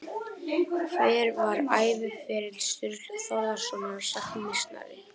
Hver var æviferill Sturlu Þórðarsonar sagnameistara?